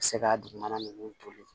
Se ka dugumana ninnu toli